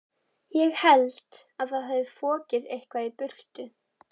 Ég held að það hafi fokið eitthvað í burtu.